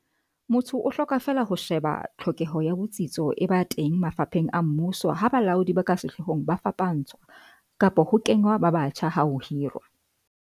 Motho o hloka feela ho she ba tlhokeho ya botsitso e ba teng mafapheng a mmuso ha balaodi ba ka sehloohong ba fapantshwa kapa ho kengwa ba batjha ha ho hirwa